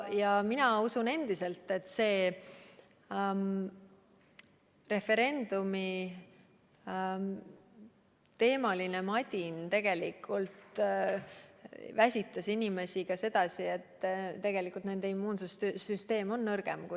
Ja mina usun endiselt, et see referendumiteemaline madin tegelikult väsitas inimesi ka sedasi, et nende immuunsüsteem on nõrgem.